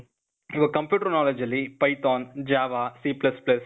ಇವಾಗ್ computer knowledge ಅಲ್ಲಿ Python, Java, C++,